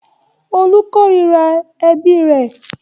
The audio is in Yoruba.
Olú korira ẹbí rẹ̀.